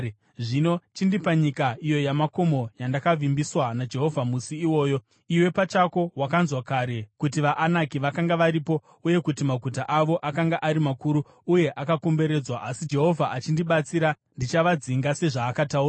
Zvino chindipa nyika iyo yamakomo, yandakavimbiswa naJehovha musi iwoyo. Iwe pachako wakanzwa kare kuti vaAnaki vakanga varipo uye kuti maguta avo akanga ari makuru uye akakomberedzwa, asi Jehovha achindibatsira, ndichavadzinga sezvaakataura.”